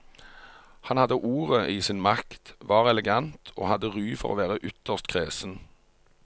Han hadde ordet i sin makt, var elegant og hadde ry for å være ytterst kresen.